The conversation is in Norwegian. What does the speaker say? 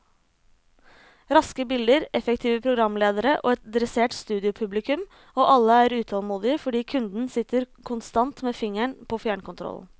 Raske bilder, effektive programledere og et dressert studiopublikum, og alle er utålmodige fordi kunden sitter konstant med fingeren på fjernkontrollen.